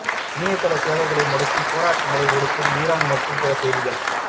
இணையதள சேவையை முடக்கி போராட்டங்களை ஒடுக்கும் இரான் மற்றும் பிற செய்திகள்